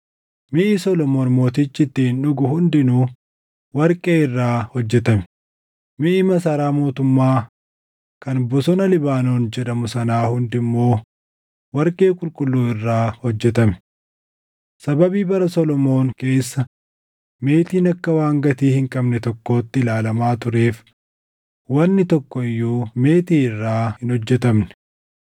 Miʼi Solomoon Mootichi ittiin dhugu hundinuu warqee irraa hojjetame; miʼi Masaraa mootummaa kan Bosona Libaanoon jedhamu sanaa hundi immoo warqee qulqulluu irraa hojjetame. Sababii bara Solomoon keessa meetiin akka waan gatii hin qabne tokkootti ilaalamaa tureef wanni tokko iyyuu meetii irraa hin hojjetamne.